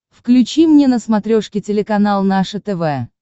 включи мне на смотрешке телеканал наше тв